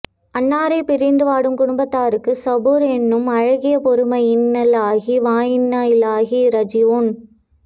அன்னாரை பிரிந்து வாடும் குடும்பத் தாருக்கு ஸபூர் எனும் அழகிய பொறுமையைஇன்னாலில்லாஹி வ இன்னாஇலைஹி ராஜிவூன்